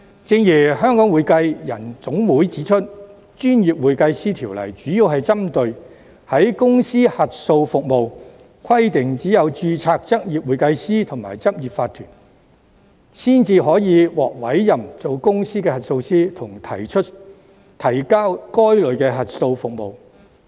正如香港會計人員總會指出，《條例》主要針對公司核數服務，規定只有執業會計師和執業法團才可獲委任為公司核數師，以及提交該類的核數報告。